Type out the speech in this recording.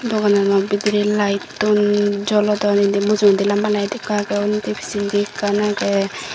dogananot bidirey laettun jolodon indi mujungedi lamba laed ikko agey undi pijjendi ekkan agey.